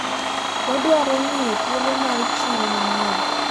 wadwaro ng'iyo thuolo mar chiro manyien